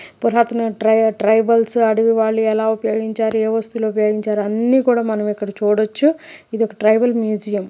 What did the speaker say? పురాతన ట్రై ట్రైబల్స్ అడవి వాళ్ళు ఎలా ఉపయోగించారు ఏ వస్తువులు ఉపయోగించారు అన్నీ కూడా మనం ఇక్కడ చూడొచ్చు. ఇదొక ట్రైబల్ మ్యూజియమ్ .